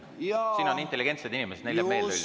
Siin on intelligentsed inimesed, neile jääb üldiselt meelde.